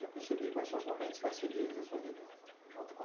Já percebi quais são os momentos mais felizes da sua vida, junto